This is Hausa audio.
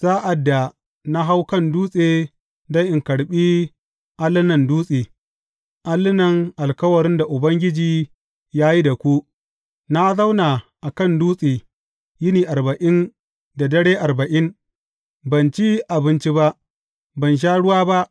Sa’ad da na hau kan dutse don in karɓi allunan dutse, allunan alkawarin da Ubangiji ya yi da ku, na zauna a kan dutse yini arba’in da dare arba’in; ban ci abinci ba, ban sha ruwa ba.